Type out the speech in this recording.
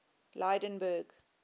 lydenburg